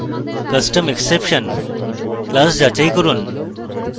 custom exception class যাচাই করুন